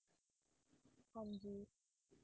ਹਾਂਜੀ